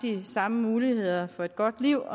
samme muligheder for et godt liv